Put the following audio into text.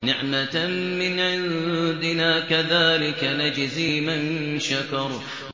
نِّعْمَةً مِّنْ عِندِنَا ۚ كَذَٰلِكَ نَجْزِي مَن شَكَرَ